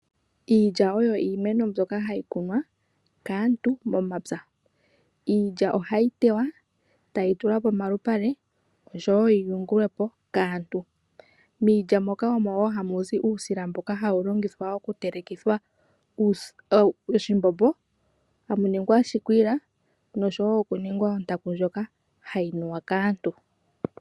Iilya oyo iimeno mbyoka hayi kunwa kaantu momapya. Iilya ohayi tewa tayi tulwa pomalupale oshowo yiyungulwepo kaantu, miilya moka mowo hamu zi uusila mboka hawu longithwa okutelekithwa Oshimbombo , hamu ningwa oshikwiila noshowo okuningwa ontaku ndjoka hayi nuwa kaantu.